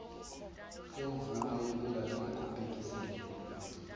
semvume yokungabikho bhekiselela